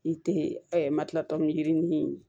N te ɛ matilata ni yirinin